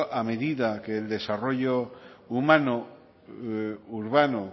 a medida que el desarrollo humano urbano